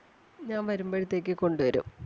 ഞാൻ വരുമ്പഴത്തേക്ക് കൊണ്ട് വരും.